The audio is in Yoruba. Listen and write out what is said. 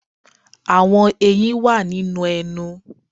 Àwọn eyín wà nínú ẹnu.